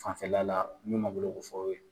Fanfɛla la min na o de fɔ aw ye.